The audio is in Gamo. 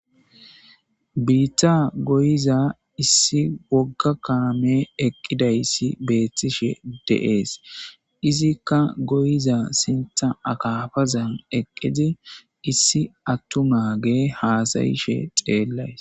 biitta goyiza issi wogga kaame eqqidayssi beethtishe de7ees izikka goyiza sintha akafazan eqqidi issi attu maage haasayishe xeellays